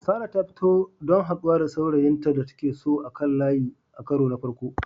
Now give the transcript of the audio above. Sarah ta fita don haɗuwa da saurayin da take so a kan layi a karo na farko.